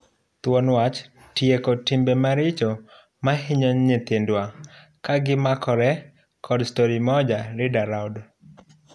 Thuon wach ''Tieko timbe maricho mahinyo nyithindwa'' ka gimakre kod Storimoja Read Aloud.